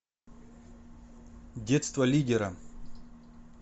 детство лидера